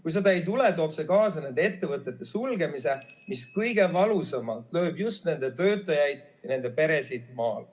Kui seda ei tule, toob see kaasa nende ettevõtete sulgemise, mis lööb kõige valusamalt just nende töötajaid ja nende peresid maal.